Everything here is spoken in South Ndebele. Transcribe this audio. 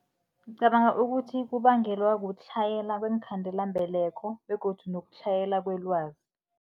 Ngicabanga ukuthi kubangelwa kutlhayela kweenkhandelambeleko begodu nokutlhayela kwelwazi.